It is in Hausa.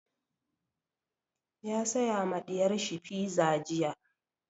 Ya saya ma ɗiyar shi fiza jiya.